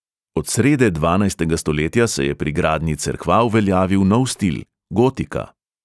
Od srede dvanajstega stoletja se je pri gradnji cerkva uveljavil nov stil, gotika.